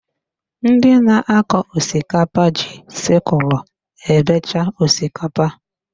Ndị na-akọ osikapa ji sịkulụ ebecha osikapa